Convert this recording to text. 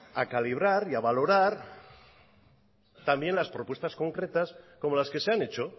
a calibrar y a valorar también las propuestas concretas como las que se han hecho